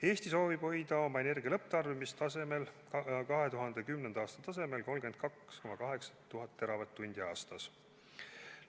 Eesti soovib hoida oma energia lõpptarbimist 2010. aasta tasemel, 32,8 teravatt-tundi aastas.